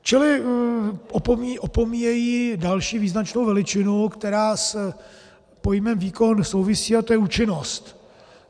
Čili opomíjejí další význačnou veličinu, která s pojmem výkon souvisí, a to je účinnost.